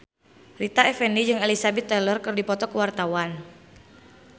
Rita Effendy jeung Elizabeth Taylor keur dipoto ku wartawan